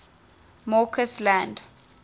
mccausland